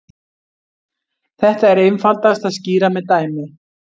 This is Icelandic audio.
Þetta er einfaldast að skýra með dæmi.